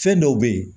Fɛn dɔw be ye